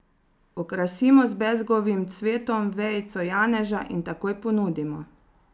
Okrasimo z bezgovim cvetom, vejico janeža in takoj ponudimo.